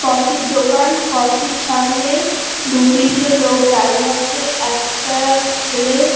Coffee -র দোকান। Coffee -র সামনে দুই তিন জন লোক দাঁড়িয়ে আছে। একটা ছেলে--